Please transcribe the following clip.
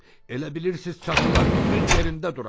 Elə bilirsiz çatılar düz yerində duracaq?